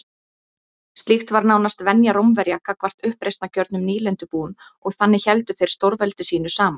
Slíkt var nánast venja Rómverja gagnvart uppreisnargjörnum nýlendubúum og þannig héldu þeir stórveldi sínu saman.